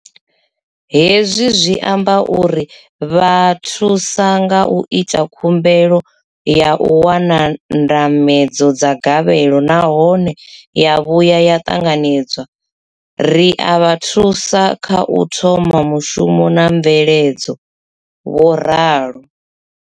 Hezwi zwi amba uri ri vha thusa nga zwa u ita khumbelo ya u wana ndambedzo ya gavhelo nahone ya vhuya ya ṱanganedzwa, ri a vha thusa kha u thoma mushumo na mveledzo, vho ralo.